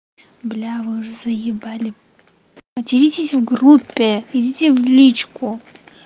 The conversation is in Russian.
бля вы уже заебали материтесь в группе идите в личку